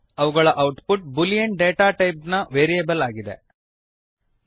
ಅವುಗಳ output boolean data type boolean data ಟೈಪ್ನ variable ಆಗಿದೆ